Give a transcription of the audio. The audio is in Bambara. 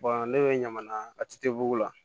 ne bɛ ɲamana attbugu la